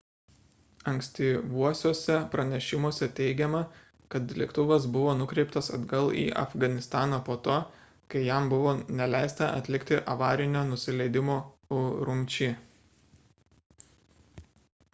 ankstyvuosiuose pranešimuose teigiama kad lėktuvas buvo nukreiptas atgal į afganistaną po to kai jam buvo neleista atlikti avarinio nusileidimo urumči